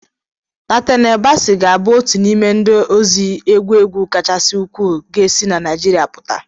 Natanel Basi ga-abụ otu n'ime ndị ozi egwu egwu kachasị ukwuu ga-esi na Nigeria pụta.